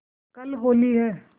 कल होली है